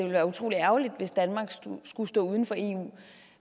være utrolig ærgerligt hvis danmark skulle stå uden for eu